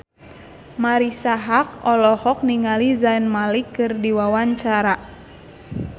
Marisa Haque olohok ningali Zayn Malik keur diwawancara